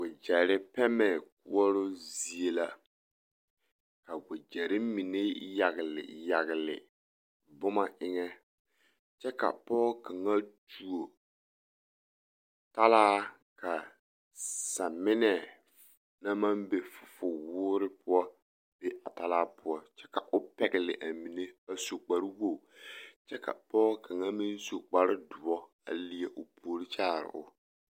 Wogyɛre pɛmɛ koɔroo zie la ka wogyɛre mine yagle yagle boma eŋɛ kyɛ ka pɔɔ kaŋa tuo talaa ka saminɛ na maŋ be fufuwoore poɔ be a talaa poɔ kyɛ ka o pɛgle a mine a su kparewoge kyɛ ka pɔɔ kaŋa meŋ su kparedoɔ a leɛ o puore kyaari o.